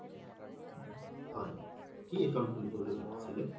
হয় কি account খুলিম বুলি ভাবিছিলে